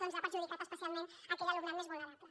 doncs ha perjudicat especialment aquell alumnat més vulnerable